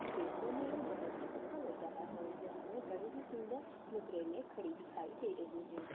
देखने मे यह बहुत ही अच्छा लग रहा है यह हमें बहुत ही सुंदर मुद्रे मे खड़ी दिखाई दे रही हैं।